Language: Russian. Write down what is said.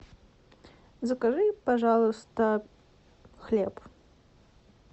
закажи пожалуйста хлеб